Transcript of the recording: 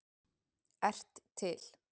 ert til!